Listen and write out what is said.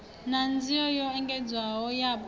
na nzio yo engedzeaho yapo